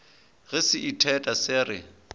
ge se itheta se re